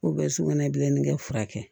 sugunɛ bilenni kɛ furakɛ kɛ